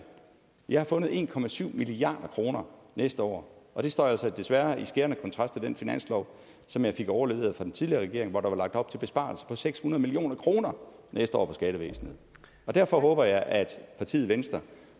jeg har fundet en milliard kroner næste år og det står altså desværre i skærende kontrast til den finanslov som jeg fik overleveret af den tidligere regering hvor der var lagt op til besparelser på seks hundrede million kroner næste år i skattevæsenet derfor håber jeg at partiet venstre